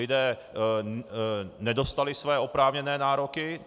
Lidé nedostali své oprávněné nároky.